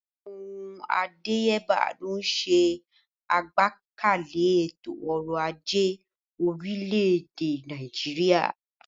Àwọn ohun àdáyébá ló ń ṣe àgbékalẹ̀ ètò ọrọ̀ ajé orílẹ̀-èdè Nàìjíríà.